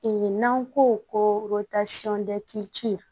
n'an ko ko